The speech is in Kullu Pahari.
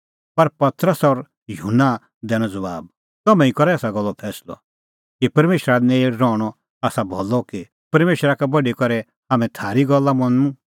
पर पतरस और युहन्ना दैनअ ज़बाब तम्हैं ई करा एसा गल्लो फैंसलअ कि परमेशरा नेल़ रहणअ आसा भलअ कि परमेशरा का बढी करै हाम्हैं थारी गल्ला मनूं